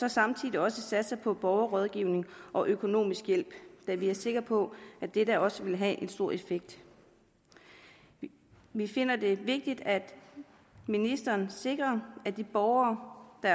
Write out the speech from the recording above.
og samtidig satser på borgerrådgivning og økonomisk hjælp da vi er sikre på at dette også vil have en stor effekt vi finder det vigtigt at ministeren sikrer at de borgere der